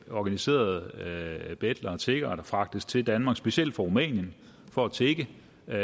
organiserede betlere og tiggere der fragtes til danmark specielt fra rumænien for at tigge